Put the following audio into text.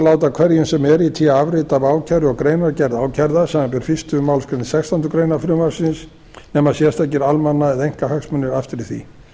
láta hverjum sem er í té afrit af ákæru og greinargerð ákærða samanber fyrstu málsgrein sextándu grein frumvarpsins nema sérstakir almanna eða einkahagsmunir aftri því